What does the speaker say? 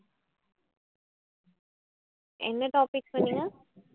என்ன topic சொன்னீங்க?